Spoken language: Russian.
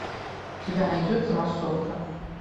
у тебя найдется массовка